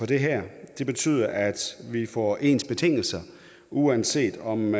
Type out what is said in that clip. det her det betyder at vi får ens betingelser uanset om